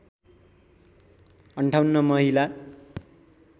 ५८ महिला